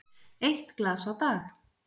Eitt glas á dag?